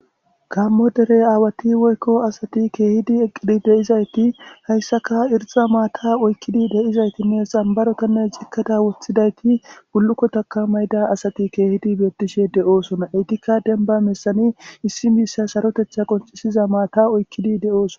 Gaammo dere aawathi woykko asathi keehidi eqqidi de7izaythi hayssaka irxxa maathaa oykkidi de7izaythinne xambarothanne cikkada woththidaythi bullukkotakka mayida asathi keehidi beeththishe de7oosona; eythikka dembba bessani issi miishsha sarotheththa qonccissiza maathaa oykkidi de7oosoa.